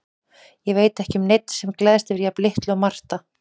Ég veit ekki um neinn sem gleðst yfir jafn litlu og Marta.